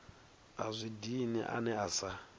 a zwi dini ane asa